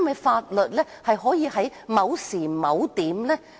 法律可以只適用於某時某點。